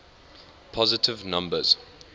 positive numbers